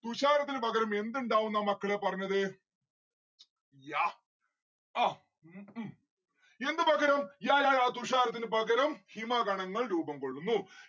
തുഷാരത്തിന് പകരം എന്ത് ഇണ്ടാവുംന്നാ മക്കളെ പറഞ്ഞത്? yeah എന്ത് പകരം? yayaya തുഷാരത്തിന് പകരം ഹിമഗണങ്ങൾ രൂപം കൊള്ളുന്നു